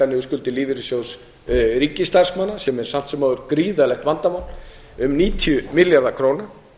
niður skuldir lífeyrissjóðs ríkisstarfsmanna sem er samt sem áður gríðarlegt vandamál um níutíu milljarðar króna